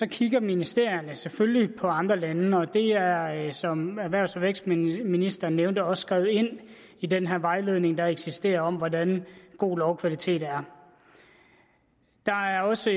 kigger ministerierne selvfølgelig på andre lande og det er er som erhvervs og vækstministeren nævnte også skrevet ind i den vejledning der eksisterer om hvordan god lovkvalitet er der er også